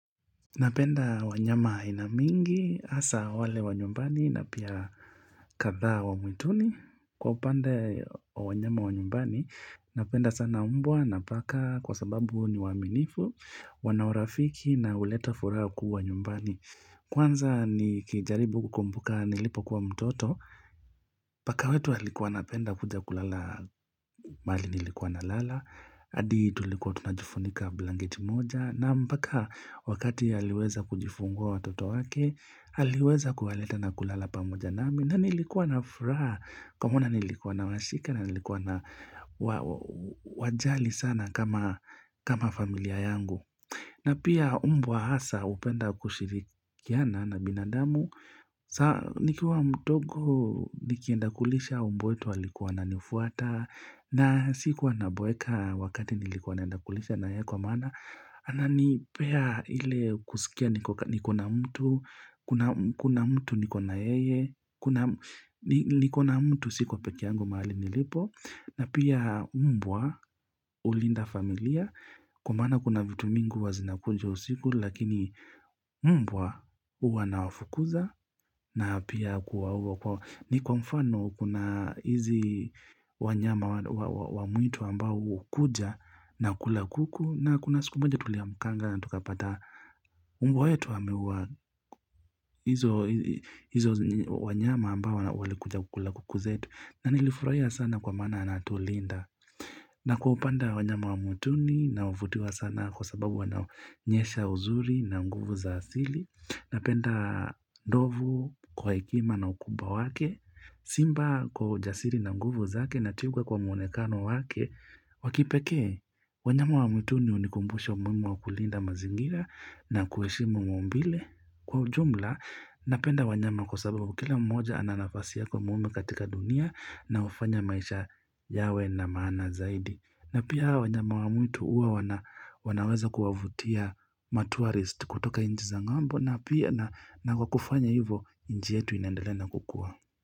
Napenda wanyama aina mingi, hasa wale wanyumbani na pia kadhaa wa mwituni. Kwa upande wa wanyama wanyumbani, napenda sana umbwa na paka kwa sababu ni waaminifu, wanaurafiki na huleta furaha kuu wa nyumbani. Kwanza ni kijaribu kukumbuka nilipo kuwa mtoto, paka wetu alikuwa anapenda kuja kulala mali nilikuwa na lala. Adi tulikuwa tunajifunika blanketi moja na mpaka wakati haliweza kujifungua watoto wake haliweza kuhaleta na kulala pamoja nami na nilikuwa na furaha kwa maana nilikuwa na washika na nilikuwa na wajali sana kama familia yangu. Na pia umbwa hasa upenda kushirikiana na binadamu, saa nikua mdogo nikienda kulisha umbwetu walikuwa na nifuata, na sikuwa na boeka wakati nilikuwa naendakulisha na yeye kwa maana, ananipea ile kusikia nikona mtu, kuna kuna mtu nikona yeye kuna ni, nikona mtu sikuwa pekeangu mahali nilipo. Na pia umbwa ulinda familia kwa maana kuna vitu mingi huwa zina kunja usiku lakini mbwa uwa na wafukuza na pia kuwa uwa kwa ni kwa mfano kuna hizi wanyama wa mwitu ambao hukuja na kula kuku na kuna siku moja tulia mkanga na tukapata umbwa we tu ameuwa hizo wanyama ambao wale kuja kula kuku zetu na nilifurahia sana kwa maana anatulinda na kuupanda wanyama wa mwituni na huvutiwa sana kwa sababu wana nyesha uzuri na nguvu za asili na penda ndovu kwa ikima na ukubwa wake Simba kwa ujasili na nguvu zaake na twiga kwa muonekano wake wakipekee, wanyama wa mwituni hunikumbusha umuhimu wa kulinda mazingira na kuheshimu maumbile Kwa ujumla, napenda wanyama kwa sababu kila mmoja ana nafasi yako muume katika dunia na hufanya maisha yawe na maana zaidi. Na pia wanyama wa mwitu uwa wanaweza kuavutia matourist kutoka inji za ng'ambo na pia na na kwa kufanya hivyo inji yetu inandelea na kukua.